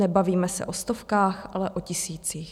Nebavíme se o stovkách, ale o tisících."